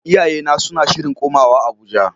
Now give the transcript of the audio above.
Iyayena suna shirin komawa Abuja.